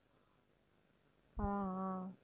ஆஹ் ஆஹ்